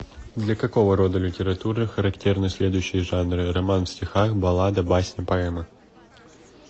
для какого рода литературы характерны следующие жанры роман в стихах баллада басня поэма